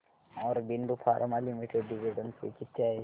Aurobindo pharma limited dividend pay किती आहे